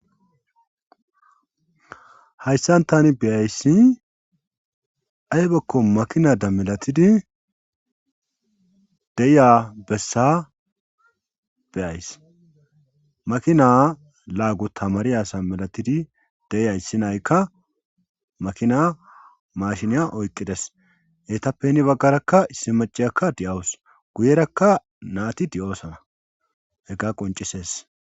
Hayssan tani beyayssi aybakko makinada milatidi deya bessa beyays makina laagu tamari asa milatidi deya issi nayykka makina mashiniya oyqqides heytappeni baggarakka issi maciyakka di7awus guyerakka naati di7oosana hegga qoncisees